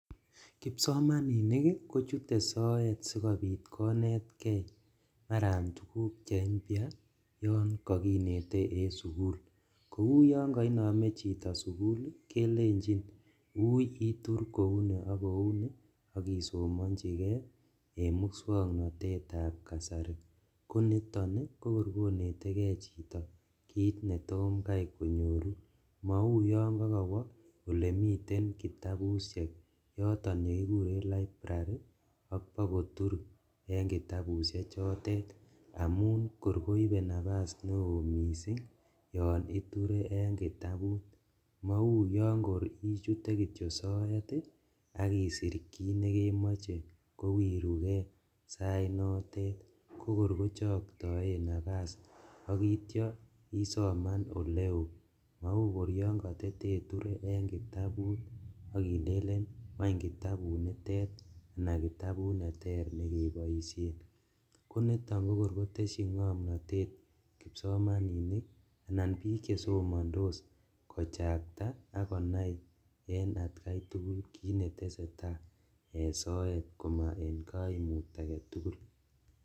Kipsomaninik kochute soet sigopit konetke tuguk che impya yon kakinete en sugul. Kouyon kainame chito sugul kelenjin ui itur kouni ak kouni ak isomanjike en muswoknatetab kasari. Konito kokor konetege chito kit netom kai konyoru. Mau yon kakawo olemiten kitabusiek yoton yekikuren library ak kwo kotur eng kitabusiechotet amun kor koibe napas neo mising yon iture en kitabusiek amun mauyon koichute kityo soet ak isir kit nekemoche kowiruge saitnotet ko korkochoktaen napas akityo usoman oleo. Mauyon katataiture en kitabut ak ilenen kwany kitabut nitet anakitabut neter nekeboisien. Konito kokor kotesyin ngomnatet kipsomaninik anan biik che somandos kochakta ak konai en atkai tugul kit neteseta en soet koma en kaimut agetugul.